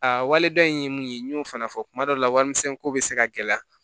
Aa walede in ye mun ye n y'o fana fɔ kuma dɔ la wari misɛn ko bɛ se ka gɛlɛya